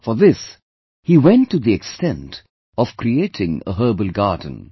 For this he went to the extent of creating a herbal garden